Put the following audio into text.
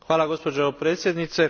Hvala, gospođo predsjednice.